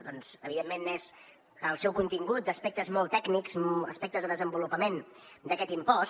doncs evidentment és el seu contingut d’aspectes molt tècnics aspectes de desenvolupament d’aquest impost